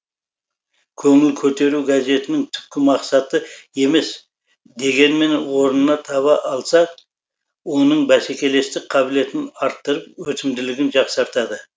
көңіл көтеру газетінің түпкі мақсаты емес дегенмен орнына таба алса оның бәсекелестік қабілетін арттырып өтімділігін жақсартады